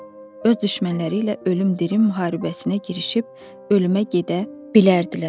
Öz düşmənləri ilə ölüm-dirim müharibəsinə girişib ölümə gedə bilərdilər.